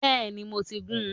Bẹ́ẹ̀ni, mo ti gún-un